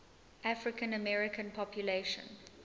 african american population